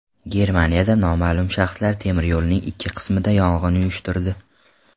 Germaniyada noma’lum shaxslar temiryo‘lning ikki qismida yong‘in uyushtirdi.